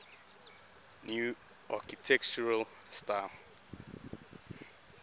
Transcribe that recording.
new architectural style